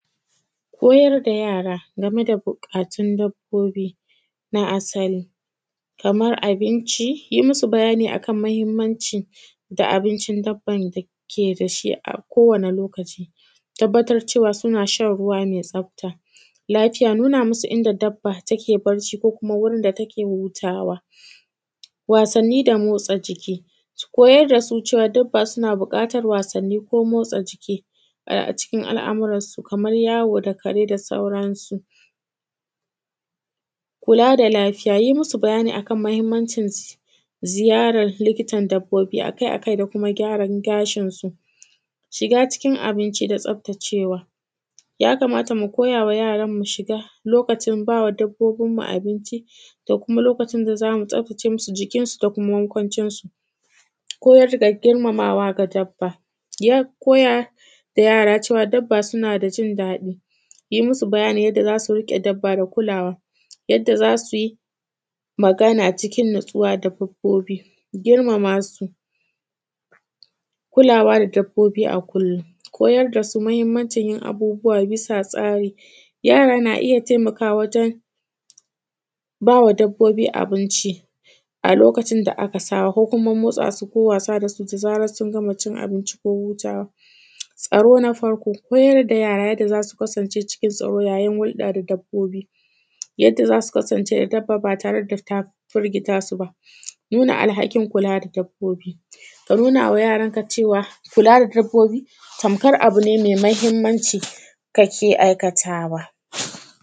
Koyar da yara game da buƙatun dabbobi na asali kamar abinci, yi musu bayani a kan mahimmanci da abincin dabban da ke da shi a kowane lokaci, tabbatar cewa suna shan ruwa mai tsafta. Lafiya, nuna musu inda dabba take bacci ko kuma wurin da take hutawa Wasanni da motsa jiki koyar da su cewa dabba suna buƙatar wasanni ko motsa jiki ai; a cikin al’amuran su kamar yawo da kare da sauran su. Kula da lafiya, yi musu bayani a kan mahimmancin ziyarar likitan dabbobi a kai a kai da kuma gyaran gashinsu Shiga cikin abinci da tsaftacewa. Ya kamata mu koyawa yaran mu shiga lokacin ba wa dabbobinmu abinci da kuma lokacin da za mu tsaftace musu jikinsu da kuma makwancinsu. Koyar da girmamawa ga dabba yak; koyar da yara cewa dabba suna da jin daɗi, yi musu bayani yadda za su riƙe dabba da kulawa, yadda za su yi magana cikin natsuwa da dabbobi, girmama su Kulawa da dabbobi a kullum, koyar da su mahimmancin yin abubuwa bisa tsari, yara na iya taimakawa wajen ba wa dabbobi abinci a lokacin da aka saba ko kuma motsa su ko wasa da zarar sun gama cin abinci ko hutawa Tsaro na farko koyar da yara yadda za su kasance cikin tsaro yayin hulɗa da dabbobi, yadda za su kasance da dabba ba tare da ta firgita su ba Nuna alhakin kula da dabbobi ka nuna wa yaranka cewa kula da dabbobi tamkar abu ne mai mahimmanci kake aikatawa.